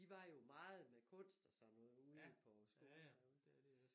De var jo meget med kunst og sådan noget ude på skolen derude